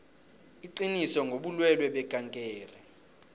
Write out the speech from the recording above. iqiniso ngobulwelwe bekankere